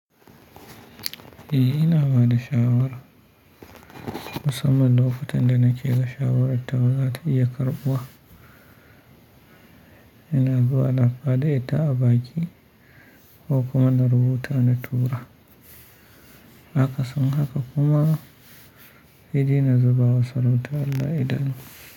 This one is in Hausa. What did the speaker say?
E, ina bada shawara musamman lokutan da nake ga shawarar tawa za ta iya karɓuwa. Ina zuwa na faɗeta a baki ko kuma na rubuta na turara. Akasin haka kuma saidai na zubawa sarautar Allah idanu.